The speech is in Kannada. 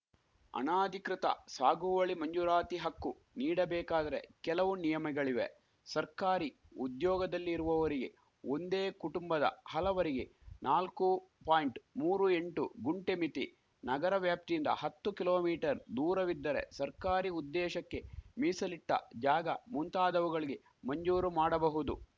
ಅನಾಧಿಕೃತ ಸಾಗುವಳಿ ಮಂಜೂರಾತಿ ಹಕ್ಕು ನೀಡಬೇಕಾದರೆ ಕೆಲವು ನಿಯಮಗಳಿವೆ ಸರ್ಕಾರಿ ಉದ್ಯೋಗದಲ್ಲಿರುವವರಿಗೆ ಒಂದೇ ಕುಟುಂಬದ ಹಲವರಿಗೆ ನಾಲ್ಕು ಪಾಯಿಂಟ್ ಮೂರು ಎಂಟು ಗುಂಟೆ ಮಿತಿ ನಗರ ವ್ಯಾಪ್ತಿಯಿಂದ ಹತ್ತು ಕಿಲೋ ಮೀಟರ್ ದೂರವಿದ್ದರೆ ಸರ್ಕಾರಿ ಉದ್ದೇಶಕ್ಕೆ ಮೀಸಲಿಟ್ಟಜಾಗ ಮುಂತಾದವುಗಳಿಗೆ ಮಂಜೂರು ಮಾಡಬಹುದು